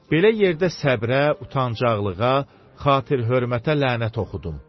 Belə yerdə səbrə, utancaqlığa, xatir-hörmətə lənət oxudum.